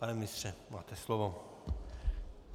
Pane ministře, máte slovo.